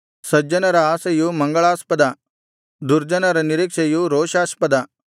ಸಜ್ಜನರ ಆಶೆಯು ಮಂಗಳಾಸ್ಪದ ದುರ್ಜನರ ನಿರೀಕ್ಷೆಯು ರೋಷಾಸ್ಪದ